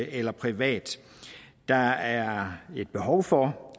eller privat der er et behov for